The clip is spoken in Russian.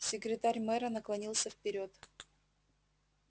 секретарь мэра наклонился вперёд